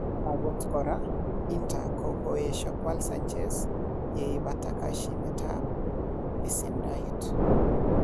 Agot kora, Inter ko koesio kwal Sanchez yeipata koshinetab besendoet.